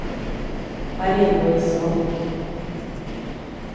Marie-Louise Roth